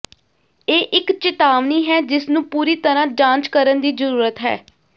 ਇਹ ਇੱਕ ਚੇਤਾਵਨੀ ਹੈ ਜਿਸਨੂੰ ਪੂਰੀ ਤਰ੍ਹਾਂ ਜਾਂਚ ਕਰਨ ਦੀ ਜ਼ਰੂਰਤ ਹੈ